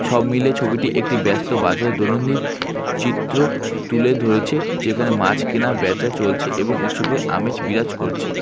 সব মিলিয়ে ছবিটি একটি ব্যস্ত বাজার দৈনন্দিন চিত্র তুলে ধরেছে যেখানে মাছ কেনা বেঁচা চলছে এবং উৎসবের আমেজ বিরাজ করছে।